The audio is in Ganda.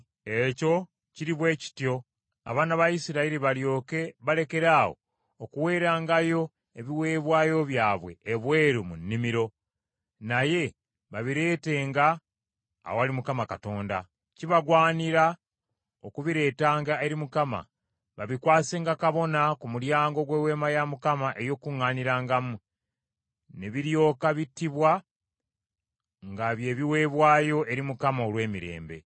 Ekyo kiri bwe kityo abaana ba Isirayiri balyoke balekeraawo okuweerangayo ebiweebwayo byabwe ebweru mu nnimiro, naye babireetenga awali Mukama Katonda. Kibagwanira okubireetanga eri Mukama babikwasenga kabona ku mulyango gw’Eweema ey’Okukuŋŋaanirangamu, ne biryoka bittibwa nga bye biweebwayo eri Mukama olw’emirembe.